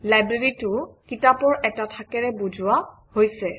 Library টো কিতাপৰ এটা থাকেৰে বুজুওৱা হৈছে